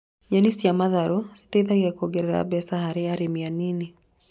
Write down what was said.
Nyeni cia matharũ citeithagia kuongerera mbeca harĩ arĩmi anini